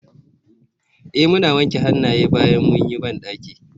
Eh mun wanke hannaye bayan mun yi bandaki.